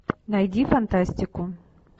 найди фантастику